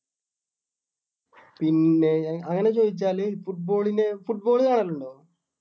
പിന്നേ അങ്ങനെ ചോദിച്ചാല് football ന് football കാണാറുണ്ടോ?